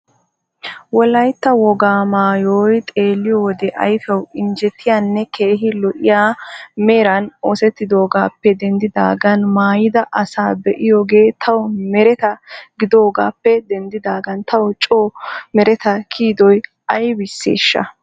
Wolayta wogaa maayooy xeelliyowode ayfiyaw injjetiyanne keehi lo'iya meran oossetidoogaappe dendidagan maayida assa be'iyooge taw mereta gidoogappe dendidaagan taw coo mereta kiyidoy aybisseesha?